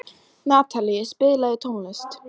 Natalie, spilaðu tónlist.